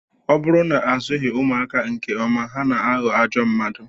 Ọ bụrụ na azụghị ụmụaka nke ọma, ha na-aghọ ajọ mmadụ